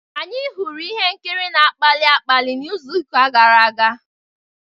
Anyị hụrụ ihe nkiri na-akpali akpali n'izu gara aga.